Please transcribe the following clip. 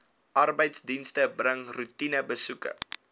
arbeidsdienste bring roetinebesoeke